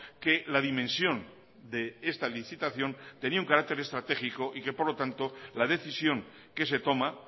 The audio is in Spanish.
que la dimensión de esta licitación tenía un carácter estratégico y que por lo tanto la decisión que se toma